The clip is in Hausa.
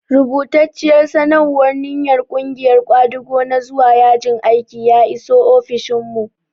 Rubatacciyar sanarwar ninyar ƙungiyar ƙwadago na zuwa yajin aiki ya iso ofishinmu.